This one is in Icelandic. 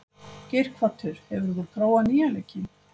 Geirhvatur, hefur þú prófað nýja leikinn?